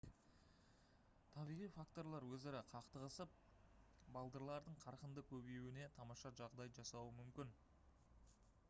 табиғи факторлар өзара қақтығысып балдырлардың қарқынды көбеюіне тамаша жағдай жасауы мүмкін